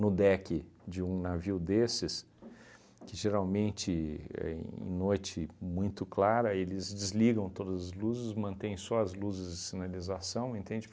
no deck de um navio desses, que geralmente, éh em noite muito clara, eles desligam todas as luzes, mantém só as luzes de sinalização, entende?